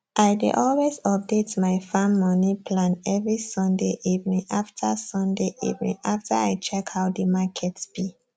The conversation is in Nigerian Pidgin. i dey always update my farm moni plan every sunday evening after sunday evening after i check how the market be